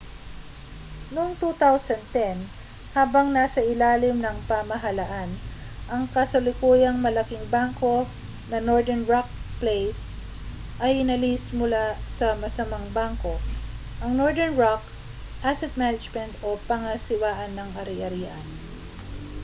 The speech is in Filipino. noong 2010 habang nasa ilalim ng pamahalaan ang kasalukuyang malaking bangko na northern rock plc ay inalis mula sa 'masamang bangko',' ang northern rock asset management o pangasiwaan ng ari-arian